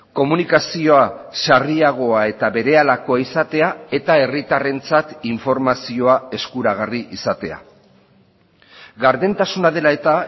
komunikazioa sarriagoa eta berehalakoa izatea eta herritarrentzat informazioa eskuragarri izatea gardentasuna dela eta